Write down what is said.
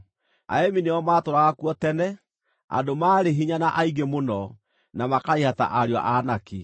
(Aemi nĩo maatũũraga kuo tene, andũ maarĩ hinya na aingĩ mũno, na makaraiha ta ariũ a Anaki.